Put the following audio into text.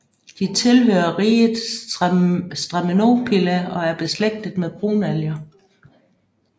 De tilhører riget Stramenopila og er beslægtet med brunalger